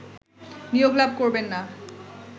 নিয়োগ লাভ করবেননা